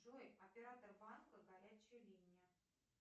джой оператор банка горячая линия